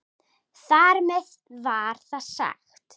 Þar með var það sagt.